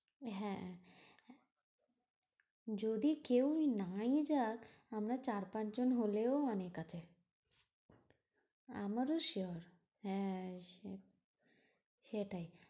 হ্যাঁ যদি কেউ নাই যাক আমরা চার পাঁচ জন হলেও অনেক আছে। আমারও sure হ্যাঁ হ্যাঁ সেটাই।